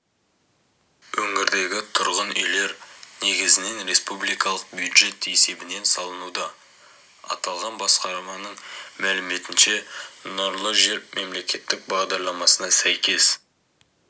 өңірдегі тұрғын үйлер негізінен республикалық бюджет есебінен салынуда аталған басқарманың мәліметінше нұрлы жер мемлекеттік бағдарламасына сәйкес